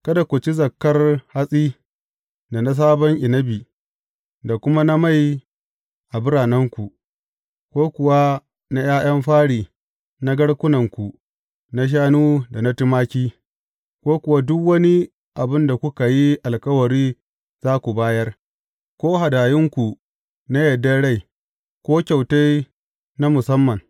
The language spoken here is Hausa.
Kada ku ci zakkar hatsi, da na sabon inabi, da kuma na mai a biranenku, ko kuwa na ’ya’yan fari na garkunanku na shanu da na tumaki, ko kuwa duk wani abin da kuka yi alkawari za ku bayar, ko hadayunku na yardar rai, ko kyautai na musamman.